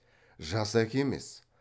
жас әке емес